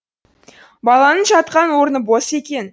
баланың жатқан орны бос екен